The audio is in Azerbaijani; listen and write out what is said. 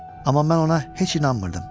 Amma mən ona heç inanmırdım.